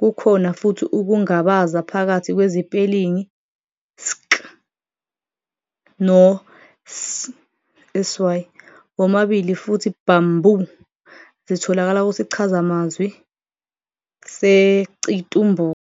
Kukhona futhi ukungabaza phakathi kwezipelingi 'sk' no 'sy', womabili futhi 'bamboo', zitholakala kusichazamazwi seCitumbuka.